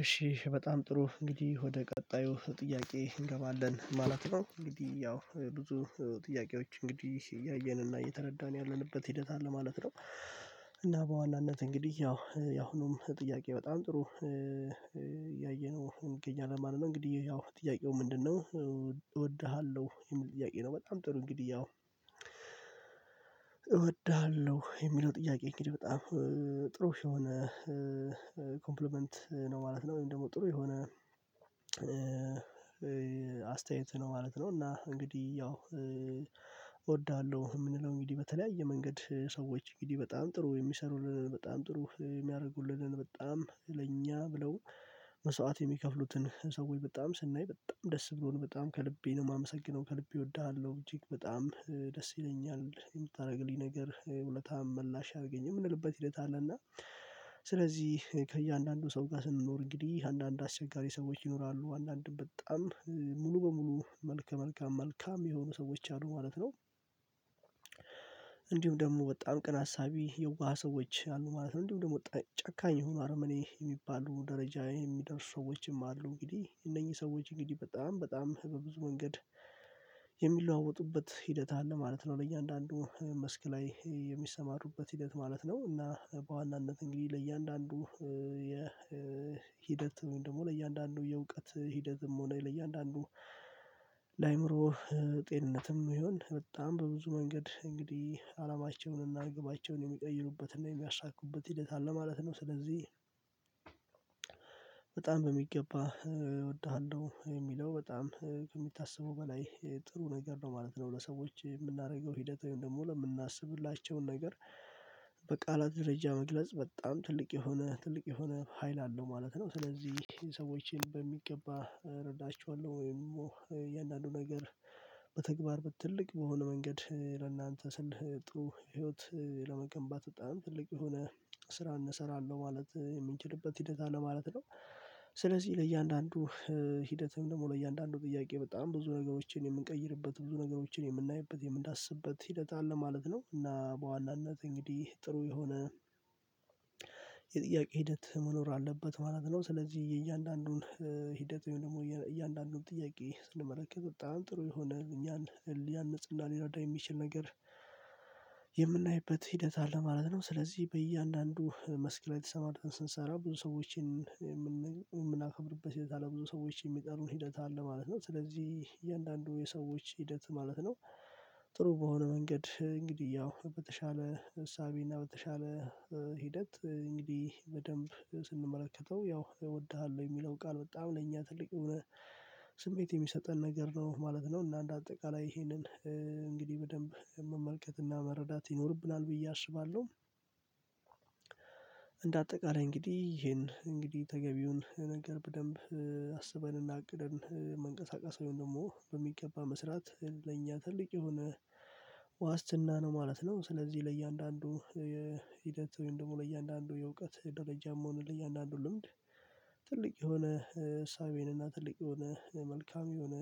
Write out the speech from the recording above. እሺ በጣም ጥሩ እንግዲህ ወደ ቀጣዩ ጥያቄ እንገባለን ማለት ነው እንግዲህ ያው ብዙ ጥያቄዎች እንግዲህ እያየን እና እየተረዳን ያለንበት ሂደት አለ ማለት ነው፤። እና በዋናነት እንግዲህ ያው ያሁኑም ጥያቄ በጣም ጥሩ እያየነው እንገኛለን ማለት ነው። እንግዲህ ያው ጥያቄው ምንድነው እወድሃለሁ የሚል ጥያቄ ነው? በጣም ጥሩ እንግዲህ ያው እወድሃለሁ የሚለው ጥያቄ እንግዲህ በጣም ጥሩ ሺህ የሆነ ኮምፕሊመንት ነው ማለት ነው። ወይም ደግሞ ጥሩ የሆነ አስተያየት ነው ማለት ነው። እና እንግዲህ ያው እወድሃለሁ የምንለው እንግዲህ በተለያየ መንገድ ሰዎች እንግዲህ በጣም ጥሩ የሚሰሩልንን በጣም ጥሩ የሚያደርጉልንን በጣም ለኛ ብለው መስዋዕት የሚከፍሉትን ሰው ወይ በጣም ስናይ በጣም ደስ ብሎን በጣም ከልቤ ነው የማመሰግነው ከልቤ እወድሃለሁ እጅግ በጣም ደስ ይለኛል የምታደርግልኝ ነገር ውለታህን መላሽ ያርገኝ የምንልበት ሂደት አለና። ስለዚህ ከእያንዳንዱ ሰው ጋር ስንኖር እንግዲህ አንዳንድ አስቸጋሪ ሰዎች ይኖራሉ አንዳንድም በጣም ሙሉ በሙሉ መልከ መልካም መልካም የሆኑ ሰዎች አሉ ማለት ነው፤። እንዲሁም ደግሞ በጣም ቅን አሳቢ የዋህ ሰዎች አሉ ማለት ነው እንዲሁም ደግሞ ጨካኝ የሆኑ አርመኔ የሚባሉ ደረጃ የሚደርሱ ሰዎችም አሉ እንግዲህ እነኚህ ሰዎች እንግዲህ በጣም በጣም በብዙ መንገድ የሚለዋወጡበት ሂደት አለ ማለት ነው። ለእያንዳንዱ መስክ ላይ የሚሰማሩበት ሂደት ማለት ነው እና በዋናነት እንግዲህ ለእያንዳንዱ የሂደት ደግሞ ለእያንዳንዱ የእውቀት ሂደትም ሆነ ለእያንዳንዱ ለአእምሮ ጤንነትም ይሁን በጣም በብዙ መንገድ እንግዲህ አላማቸውን እና ግባቸውን የሚቀይሩበትና የሚያሳኩበት ሂደት አለ ማለት ነው። ስለዚህ በጣም በሚገባ እወድሃለሁ የሚለው በጣም ከሚታሰቡ በላይ ጥሩ ነገር ነው ማለት ነው ለሰዎች የምናደርገው ሂደት ወይም ደግሞ ለምናስብላቸው ነገር በቃላት ደረጃ መግለጽ በጣም ትልቅ የሆነ ትልቅ የሆነ ሀይል አለው ማለት ነው። ስለዚህ ሰዎችን በሚገባ እረዳቸዋለሁ ወይም የእያንዳንዱ ነገር በተግባር በትልቅ በሆነ መንገድ ለእናንተ ስል ጥሩ ህይወት ለመገንባት በጣም ትልቅ የሆነ ስራ እንሰራለን ማለት የምንችልበት ሂደት አለ ማለት ነው፤። ስለዚህ ለእያንዳንዱ ሂደትም ደግሞ ለእያንዳንዱ ጥያቄ በጣም ብዙ ነገሮችን የምንቀይርበት፣ ብዙ ነገሮችን የምናይበት፣ የምንዳስብበት ሂደት አለ ማለት ነው እና በዋናነት እንግዲህ ጥሩ የሆነ የጥያቄ ሂደት መኖር አለበት ማለት ነው። ስለዚህ የእያንዳንዱን ሂደት ወይም ደግሞ እያንዳንዱን ጥያቄ ስንመለከት በጣም ጥሩ የሆነ እኛን ሊያንጽና ሊረዳ የሚችል ነገር የምናይበት ሂደት አለ ማለት ነው። ስለዚህ በእያንዳንዱ መስክ ላይ ተሰማርተን ስንሰራ ብዙ ሰዎችን የምናከብርበት ሂደት አለ ብዙ ሰዎችን የሚጠሩን ሂደት አለ ማለት ነው። ስለዚህ እያንዳንዱ የሰዎች ሂደት ማለት ነው፤ ጥሩ በሆነ መንገድ እንግዲህ ያው በተሻለ እሳቤ እና በተሻለ ሂደት እንግዲህ በደንብ ስንመለከተው ያው እወድሃለሁ የሚለው ቃል በጣም ለእኛ ትልቅ የሆነ ስሜት የሚሰጠን ነገር ነው ማለት ነው። እና እንደ አጠቃላይ ይሄንን እንግዲህ በደንብ መመልከት እና መረዳት ይኖርብናል ብዬ አስባለሁ። እንደ አጠቃላይ እንግዲህ ይሄን እንግዲህ ተገቢውን ነገር በደንብ አስበንና እቅድን መንቀሳቀስ ወይም ደግሞ በሚገባ መስራት ለኛ ትልቅ የሆነ ዋስትና ነው ማለት ነው። ስለዚህ ለእያንዳንዱ የሂደት ወይም ደግሞ ለእያንዳንዱ የእውቀት ደረጃም ሆነ ለእያንዳንዱ ልምድ ትልቅ የሆነ እሳቤን እና ትልቅ የሆነ መልካም የሆነ